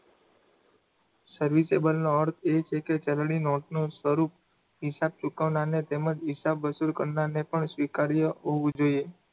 serviceable નો અર્થ એ છે કે ચલણી નોટનું સ્વરૂપ હિસાબ ચૂકવનારને તેમજ હિસાબ વસૂલ કરનારને પણ સ્વીકાર્ય હોવું જોઈએ.